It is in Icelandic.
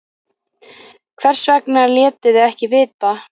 Hvers vegna létuð þið ekki vita?